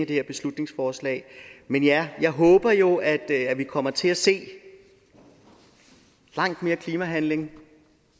det her beslutningsforslag men jeg jeg håber jo at vi kommer til at se langt mere klimahandling